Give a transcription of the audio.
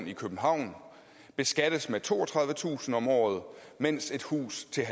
i københavn beskattes med toogtredivetusind kroner om året mens et hus til